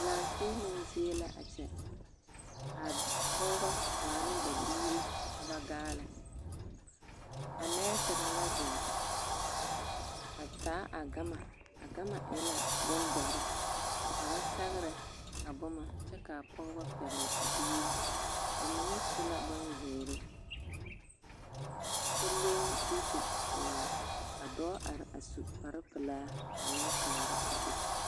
Laanfiiloŋ zie la a kyɛ ka pɔgebɔ waa ne ba biiri ka ba gaale, a nɛɛsere la zeŋ a taa a gama, a gama e la bondɔre ka ba sɛgerɛ a boma kyɛ k'a pɔgebɔ pɛgele a biiri, bamine su la bonzeere kyɛ leŋ duuku pelaa ka dɔɔ are a su kpare pelaa a meŋ kaara a be.